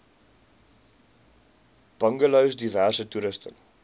bungalows diverse toerusting